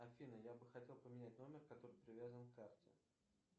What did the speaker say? афина я бы хотел поменять номер который привязан к карте